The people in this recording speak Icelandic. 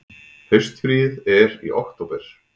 Haustfríið er í október.